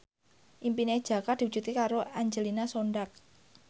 impine Jaka diwujudke karo Angelina Sondakh